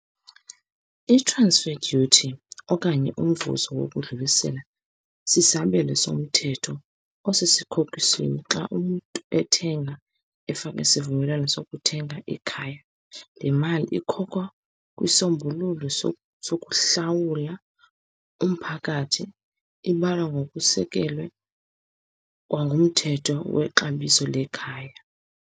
I-transfer duty okanye umvuzo wokudlulisela sisabelo somthetho xa umntu ethenga, efaka isivumelwano sokuthenga ikhaya. Le mali ikhokhwa kwisombululo sokuhlawula umphakathi. Ibalwa ngokusekelwe kwangumthetho, wexabiso lekhaya.